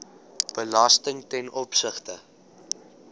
belasting ten opsigte